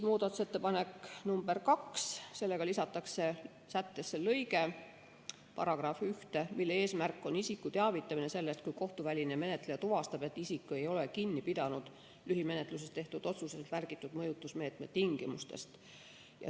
Muudatusettepanekuga nr 2 lisatakse sättesse lõige 13, mille eesmärk on isiku teavitamine sellest, kui kohtuväline menetleja tuvastab, et isik ei ole kinni pidanud lühimenetluses tehtud otsuses märgitud mõjutusmeetme tingimustest.